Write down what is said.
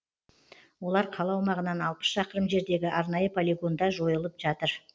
олар қала аумағынан алпыс шақырым жердегі арнайы полигонда жойылып жатыр